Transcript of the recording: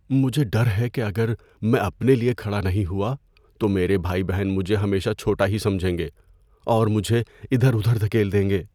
مجھے ڈر ہے کہ اگر میں اپنے لیے کھڑا نہیں ہوا تو میرے بہن بھائی مجھے ہمیشہ چھوٹا ہی سمجھیں گے اور مجھے ادھر ادھر دھکیل دیں گے۔